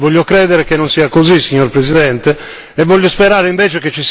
Io invece voglio sperare e voglio credere che non sia così, signor Presidente.